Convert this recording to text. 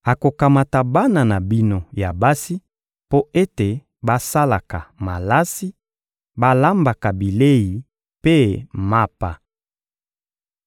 Akokamata bana na bino ya basi mpo ete basalaka malasi, balambaka bilei mpe mapa.